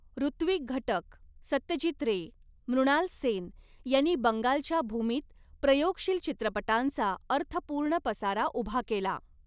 ऋत्विक घटक, सत्यजीत रे, मृणाल सेन यांनी बंगालच्या भूमीत प्रयोगशील चित्रपटांचा अर्थपूर्ण पसारा उभा केला